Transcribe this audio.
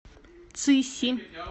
цыси